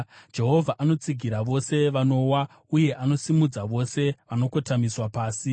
Jehovha anotsigira vose vanowa, uye anosimudza vose vakakotamiswa pasi.